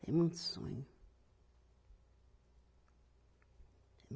Tem muito sonho. tem